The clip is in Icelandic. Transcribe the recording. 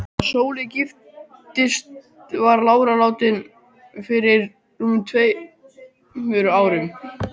Þegar Sóley giftist var lára látin fyrir rúmum tveimur árum.